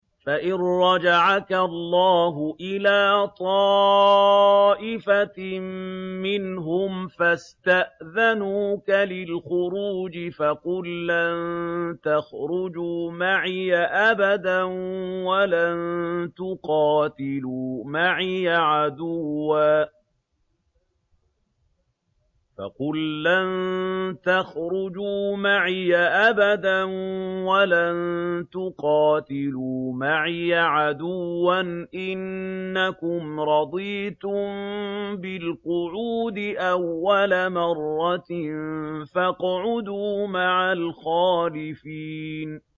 فَإِن رَّجَعَكَ اللَّهُ إِلَىٰ طَائِفَةٍ مِّنْهُمْ فَاسْتَأْذَنُوكَ لِلْخُرُوجِ فَقُل لَّن تَخْرُجُوا مَعِيَ أَبَدًا وَلَن تُقَاتِلُوا مَعِيَ عَدُوًّا ۖ إِنَّكُمْ رَضِيتُم بِالْقُعُودِ أَوَّلَ مَرَّةٍ فَاقْعُدُوا مَعَ الْخَالِفِينَ